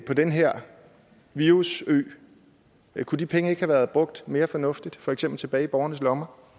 på den her virusø kunne de penge ikke have været brugt mere fornuftigt for eksempel tilbage i borgernes lommer